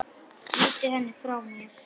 Ýti henni frá mér.